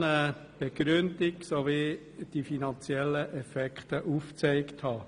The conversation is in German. Er will zudem eine Begründung und fordert, dass die finanziellen Folgen aufgezeigt werden.